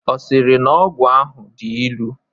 Ọ sịrị na ọgwụ ahụ dị ilu?